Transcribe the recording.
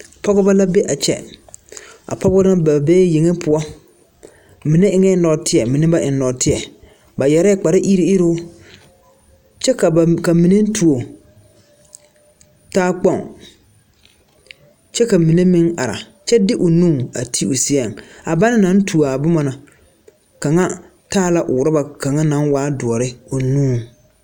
Pɔgeba la be a kyɛ a pɔgeba na ba bee yeŋe poɔ mine eŋɛɛ nɔɔteɛ mine ba eŋ nɔɔteɛ ba yɛrɛɛ kpariruŋiruŋ kyɛ ka ba ka mine tuo talkpoŋ kyɛ ka mine meŋ are kyɛ de o nu a ti o seɛŋ a banna naŋ tuo a boma na kaŋa taa la orɔba kaŋa naŋ waa doɔre o nuŋ.